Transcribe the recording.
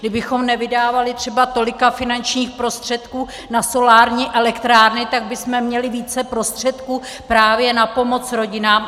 Kdybychom nevydávali třeba tolik finančních prostředků na solární elektrárny, tak bychom měli více prostředků právě na pomoc rodinám.